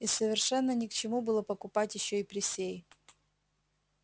и совершенно ни к чему было покупать ещё и присей